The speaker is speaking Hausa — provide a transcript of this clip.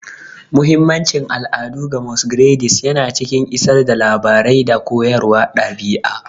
Muhimmancin al'adu ga Masquerades yana cikin isar da labarai da koyarwar ɗabi'a.